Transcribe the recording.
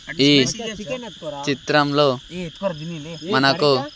ఈ చిత్రంలో మనకు.